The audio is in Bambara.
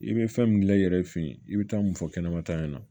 I bɛ fɛn min gilan i yɛrɛ fɛ yen i bɛ taa mun fɔ kɛnɛma ta ɲɛna